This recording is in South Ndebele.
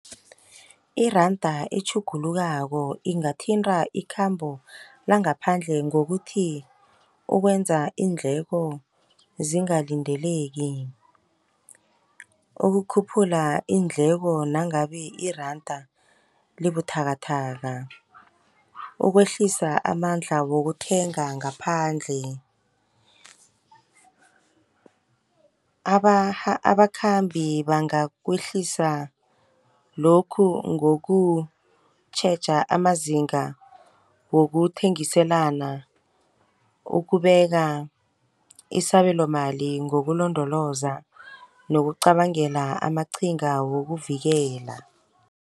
Iranda etjhugulukako ingathinta ikhambo langaphandle ngokuthi, ukwenza iindleko zingalindeleki. Ukukhuphula iindleko nangabe iranda libuthakathaka. Ukwehlisa amandla wokuthenga ngaphandle. Abakhambi bangakwehlisa lokhu ngokutjheja amazinga wokuthengiselana, ukubeka isabelomali ngokulondoloza nokucabangela amaqhinga wokuvikela.